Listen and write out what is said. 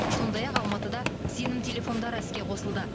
сондай ақ алматыда сенім телефондары іске қосылды